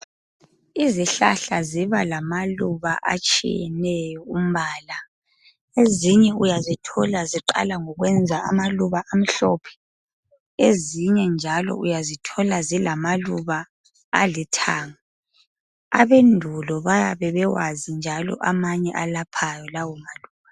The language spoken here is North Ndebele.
Izihlahla ziba lamaluba atshiyeneyo umbala ezinye uyazithola ziqala ukwenza amaluba amhlophe ezinye njalo uyazithola zilamaluba alithanga abendulo bayabebekwazi njalo amanye ayelaphani lawo maluba